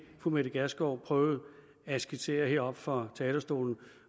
fru mette gjerskov prøvede at skitsere heroppe fra talerstolen